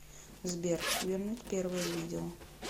сбер вернуть первое видео